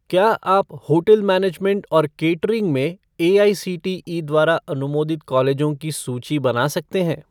क्या आप hotel management और केटरिंग में एआईसीटीई द्वारा अनुमोदित कॉलेजों की सूची बना सकते हैं?